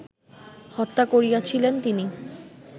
হত্যা করিয়াছিলেন তিনি